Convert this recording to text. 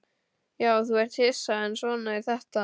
Já, þú ert hissa, en svona er þetta.